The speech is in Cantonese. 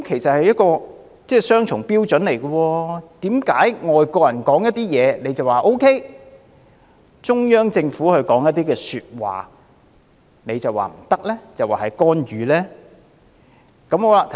這是雙重標準，為何外國人說話，他們就說 OK 沒問題，但中央政府說一些說話，他們卻說不可以，指這是干預呢？